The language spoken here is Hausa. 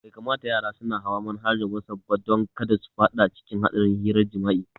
Bai kamata yara suna hawa manhajar wasaf ba don kada su fada cikin hadarin hirar jimi'a